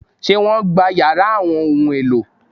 Ṣé wọ́n gbá yàrá àwọn ohun-èlò?